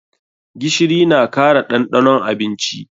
Gishiri na kara ɗanɗanon abinci.